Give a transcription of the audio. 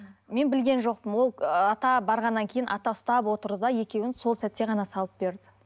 мен білген жоқпын ол ата барғаннан кейін ата ұстап отырды да екеуін сол сәтте ғана салып берді